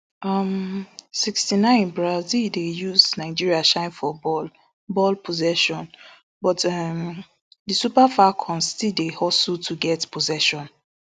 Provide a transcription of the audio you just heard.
um sixty-nine brazil dey use nigeria shine for ball ball possession but um di super falcons still dey hustle to get possession